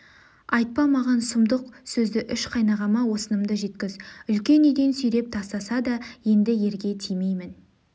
айтпа маған сүмдық сөзді үш қайнағама осынымды жеткіз үлкен үйден сүйреп тастаса да енді ерге тимеймін